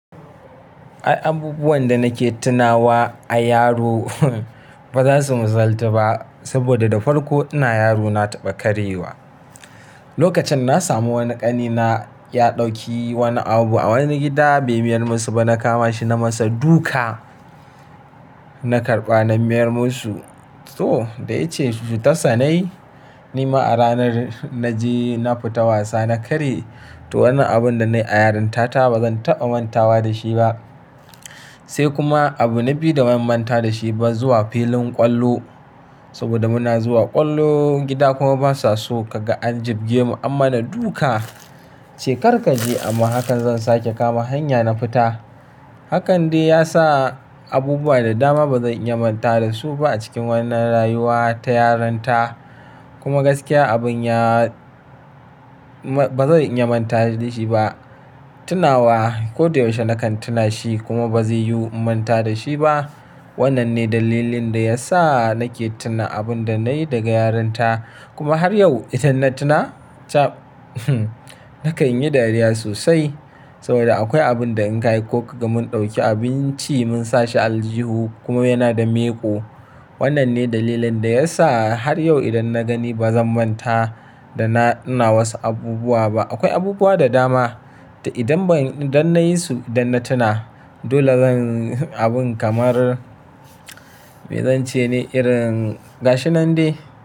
Ai abubuwan da nake tunawa a yaro ba za su misalta ba saboda da farko ina yaro na taɓa karyewa. Lokacin na samu wani ƙani na ya ɗauki wani abu a wani gida bai miyar musu ba. Na kama shi na masa duka, na karɓa na miyar musu. To, da ice su tasani. Ni ma a ranar na je na fita wasa na karye to wannan abun da nayi a yarinta ta ba zan taɓa manta wa da shi ba. Sai kuma abu na biyu da ban manta da shi ba zuwa filin ƙwallo. Saboda muna zuwa ƙwallo, gida kuma basa so ka ga an jibge mu an mana duka, ce "kar ka je" amma hakan zan sake kama hanya na fita Hakan dai ya sa abubuwa da dama ba zan iya manta da su ba a cikin wannan rayuwa ta yaranta. Kuma gaskiya abun ya-- ba zan iya manta da shi ba. Tunawa ko da yaushe nakan tuna shi kuma ba zai yiwu in manta da shi ba. Wannan ne dalilin da ya sa nake tuna abun da nayi daga yaranta. Kuma har yau idan na tuna ta nakan yi dariya sosai saboda akwai abun da in kai ko ka ga mun ɗauki abinci mun sa shi aljihu kuma yana da miƙo. Wannan ne dalilin da ya sa har yau idan na gani ba zan manta da na ina wasu abubuwa ba. Akwai abubuwa da dama, to idan ban-- idan nayi su idan na tuna. Dole zan yi abun kamar me zan ce ne irin gashi nan dai.